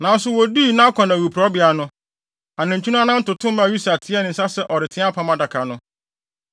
Nanso woduu Nakon awiporowbea no, anantwi no anan toto maa Usa teɛɛ ne nsa sɛ ɔreteɛ Apam Adaka no.